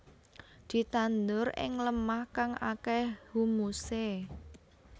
Ditandur ing lemah kang akéh humusé